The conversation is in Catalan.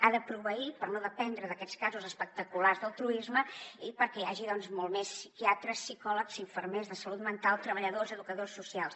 ha de proveir per no dependre d’aquests casos espectaculars l’altruisme i perquè hi hagi molt més psiquiatres psicòlegs infermers de salut mental treballadors educadors socials